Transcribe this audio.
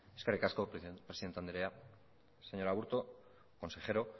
eskerrik asko presidente andrea señor aburto consejero